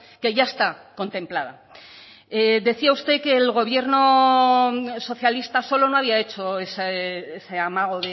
que ya está contemplada decía usted que el gobierno socialista solo no había hecho ese amago